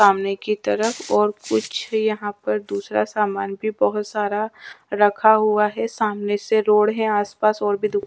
सामने की तरफ और कुछ यहाँ पर दूसरा सामान भी बहुत सारा रखा हुआ है सामने से रोड है आसपास और भी दु --